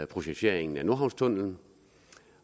projekteringen af nordhavnstunnellen